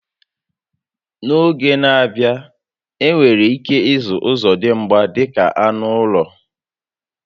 N'oge n'a bịa, enwere ike ịzụ ọzọdimgba dịka anụ ụlọ